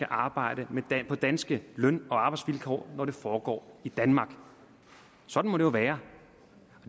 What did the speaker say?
arbejder på danske løn og arbejdsvilkår når det foregår i danmark sådan må det jo være